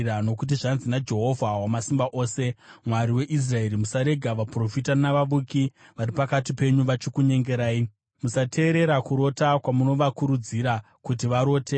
Nokuti, zvanzi naJehovha Wamasimba Ose, Mwari weIsraeri, “Musarega vaprofita navavuki vari pakati penyu vachikunyengerai. Musateerera kurota kwamunovakurudzira kuti varote.